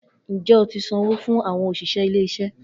Njẹ o ti sanwo fun awọn oṣiṣẹ ile-iṣẹ